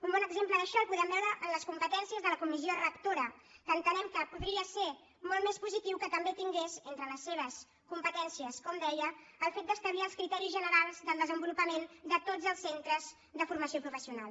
un bon exemple d’això el podem veure en les competències de la comissió rectora que entenem que podria ser molt més positiu que també tingués entre les seves competències com deia el fet d’establir els criteris generals del desenvolupament de tots els centres de formació professional